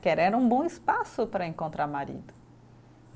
Que era, era um bom espaço para encontrar marido.